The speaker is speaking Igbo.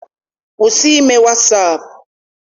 Kwụsị ime wasaapụ!